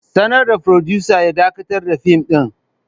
Sanar da furodusa ya dakatar da fim ɗin.